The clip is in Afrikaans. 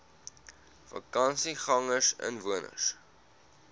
vakansiegangersinwoners